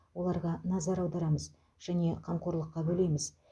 оларға назар аударамыз және қамқорлыққа бөлейміз